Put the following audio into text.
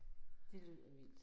Det lyder vildt